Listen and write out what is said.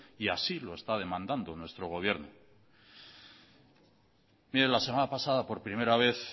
y así lo está demandado nuestro gobierno mire la semana pasada por primera vez